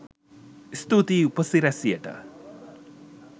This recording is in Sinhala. ස්තුතියි උපසි‍රැසියට